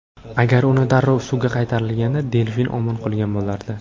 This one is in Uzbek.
Agar uni darrov suvga qaytarilganda, delfin omon qolgan bo‘lardi.